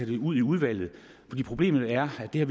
det ud i udvalget problemet er at vi